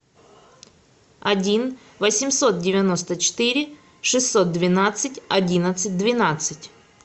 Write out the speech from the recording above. один восемьсот девяносто четыре шестьсот двенадцать одиннадцать двенадцать